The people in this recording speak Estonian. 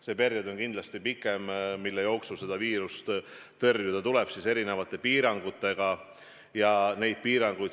See periood, mille jooksul seda viirust tuleb erinevate piirangutega tõrjuda, on kindlasti pikem.